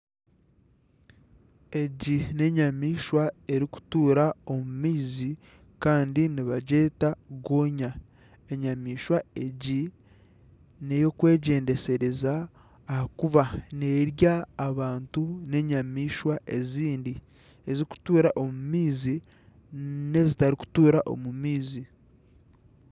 Egi n'enyamaishwa erikutuura omu maizi kandi nibagyeta gonya. Enyamaishwa egi ni ey'okwegyendesereza ahakuba neerya abantu n'enyamaishwa ezindi ezikutuura omu maizi n'ezitarikutuura omu maizi.